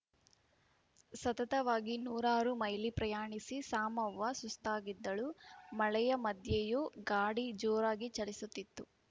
ಸತತವಾಗಿ ನೂರಾರು ಮೈಲಿ ಪ್ರಯಾಣಿಸಿ ಸಾಮವ್ವ ಸುಸ್ತಾಗಿದ್ದಳು ಮಳೆಯ ಮದ್ಯೆಯೂ ಗಾಡಿ ಜೋರಾಗಿ ಚಲಿಸುತ್ತಿತ್ತು